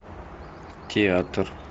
театр